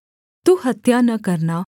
तू खून न करना